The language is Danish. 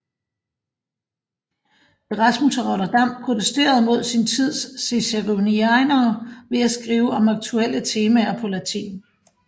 Erasmus af Rotterdam protesterede mod sin tids ciceronianere ved at skrive om aktuelle temaer på latin